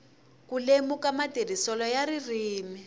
ku lemuka matirhiselo ya ririmi